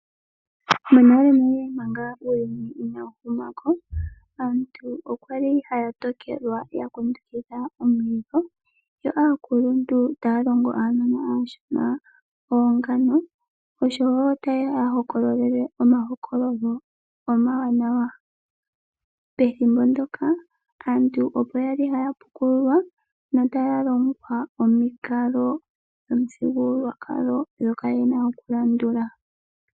Monalenale manga uuyuni inawu huma ko, aantu okwali haya tokelwa ya kundukidha omulilo yo aakuluntu taya longo aanona aashona oongano osho wo taye ya hokololele omahokololo omawanawa. Pethimbo ndyoka aantu opo ya li haya pukululwa notaya longwa omikalo dhomithigululwakalo ndhoka ye na okulandula.